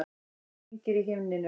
Hringir í himninum.